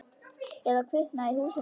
Eða kviknað í húsinu.